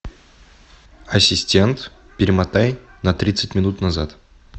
ассистент перемотай на тридцать минут назад